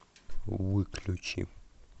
выключи